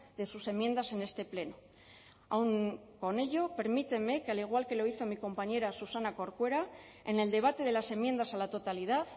de sus enmiendas en este pleno aun con ello permítanme que al igual que lo hizo mi compañera susana corcuera en el debate de las enmiendas a la totalidad